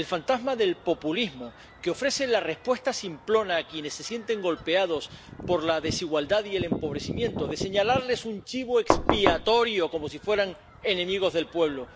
el fantasma del populismo, que ofrece la respuesta simplona a quienes se sienten golpeados por la desigualdad y el empobrecimiento de señalarles un chivo expiatorio como si fueran enemigos del pueblo.